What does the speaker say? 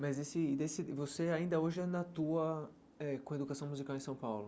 Mas você ainda hoje ainda atua eh com educação musical em São Paulo.